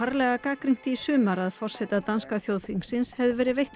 að forseta danska þjóðþingsins hefði verið veitt fálkaorða